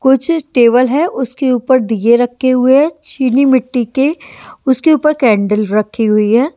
कुछ टेबल है उसके ऊपर दीए रखे हुए हैं चीनी मिट्टी के उसके ऊपर कैंडल रखी हुई है।